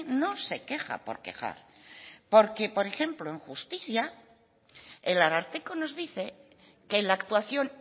no se queja por quejar porque por ejemplo en justicia el ararteko nos dice que la actuación